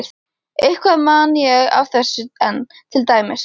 Eitthvað man ég af þessu enn, til dæmis